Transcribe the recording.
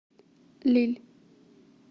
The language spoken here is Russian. лилль